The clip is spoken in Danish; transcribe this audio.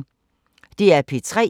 DR P3